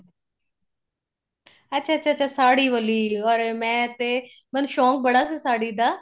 ਅੱਛਾ ਅੱਛਾ ਅੱਛਾ ਸਾੜੀ ਵਾਲੀ ਅਰੇ ਮੈਂ ਤੇ ਮਤਲਬ ਸ਼ੋਂਕ ਬੜਾ ਸੀ ਸਾੜੀ ਦਾ